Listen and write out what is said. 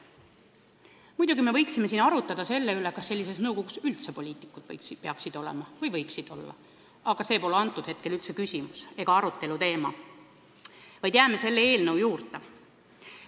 Muidugi me võiksime siin arutleda selle üle, kas tolles nõukogus üldse poliitikud peaksid olema või võiksid olla, aga see pole praegu küsimus – jääme selle eelnõu teema juurde.